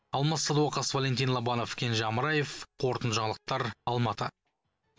алмас садуақас валентин лобанов кенже амраев қорытынды жаңалықтар алматы